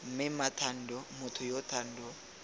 mme mmathando motho yo thando